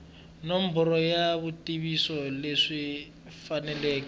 nomboro ya swivutiso leswi faneleke